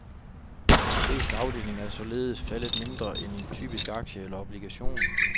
De fleste afdelinger er således faldet mindre, end en typisk aktie eller obligation.